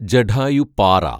Jatayupara